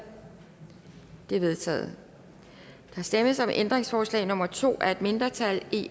det er vedtaget der stemmes om ændringsforslag nummer to af et mindretal